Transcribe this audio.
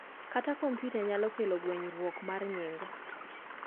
kata komputa nyalo kelo ngwenyuok mar nying